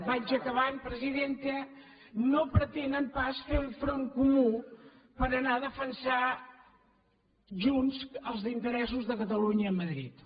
vaig acabant presidenta no pretenen pas fer un front comú per anar a defensar junts els interessos de cata·lunya a madrid